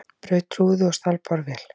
Braut rúðu og stal borvél